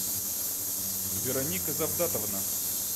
вероника завдатовна